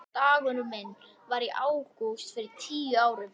Dagurinn minn var í ágúst fyrir tíu árum.